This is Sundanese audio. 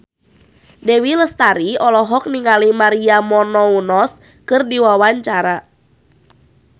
Dewi Lestari olohok ningali Maria Menounos keur diwawancara